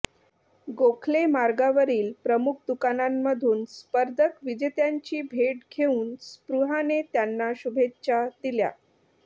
गोखले मार्गावरील प्रमुख दुकानांमधून स्पर्धक विजेत्यांची भेट घेऊन स्पृहाने त्यांना शुभेच्छा दिल्या